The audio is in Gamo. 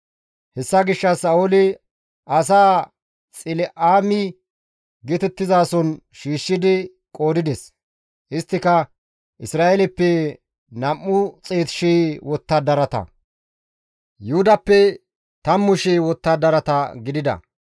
Hessa gishshas Sa7ooli asaa Xila7ime geetettizason shiishshidi qoodides; isttika Isra7eeleppe 200,000 wottadarata, Yuhudappe 10,000 wottadarata gidida.